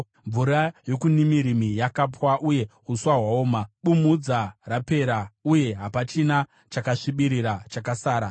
Mvura yokuNimirimi yakapwa uye uswa hwaoma; bumhudza rapera uye hapachina chakasvibirira chakasara.